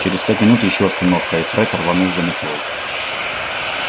через пять минут ещё остановка и фред рванул за метлой